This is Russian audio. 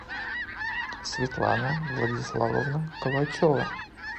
светлана владиславовна калачева